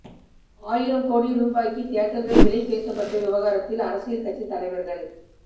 ஆயிரம் கோடி ரூபாய்க்கு தியேட்டர்கள் விலை பேசப்பட்ட விவகாரத்தில் அரசியல் கட்சித் தலைவர்கள்